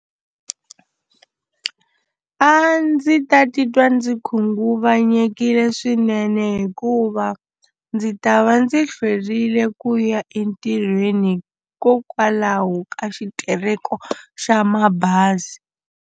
A ndzi ta titwa ndzi khunguvanyekile swinene hikuva ndzi ta va ndzi hlwerile ku ya entirhweni hikokwalaho ka xitereko xa mabazi.